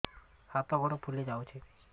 ହାତ ଗୋଡ଼ ଫୁଲି ଯାଉଛି